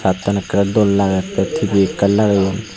pitan akoray doll lagare tay tv akan lagayone.